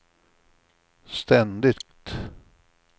ständigt